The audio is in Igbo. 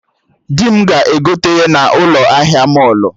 Dị m ga-egote ya na ụlọ ahịa mọlụ